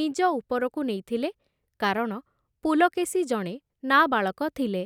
ନିଜ ଉପରକୁ ନେଇଥିଲେ କାରଣ ପୁଲକେଶୀ ଜଣେ ନାବାଳକ ଥିଲେ ।